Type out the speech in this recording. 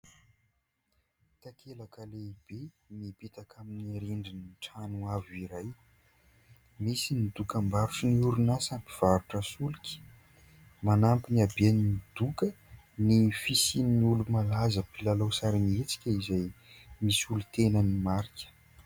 Takelaka lehibe mipetaka amin'ny rindrin'ny trano avo iray, misy ny dokam-barotry ny orinasa mpivarotra solika. Manampy ny haben'ny doka ny fisian'ny olo-malaza mpilalao sarimihetsika, izay misolo tena ny marika.